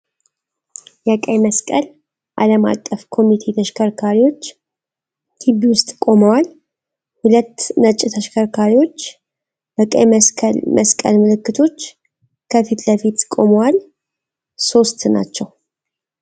የቀይ መስቀል ዓለም አቀፍ ኮሚቴ ተሽከርካሪዎች ግቢ ውስጥ ቆመው። ሁለት ነጭ ተሽከርካሪዎች በቀይ መስቀል ምልክቶች ከፊት ለፊት ቆመዋል። ሶስት ናቸው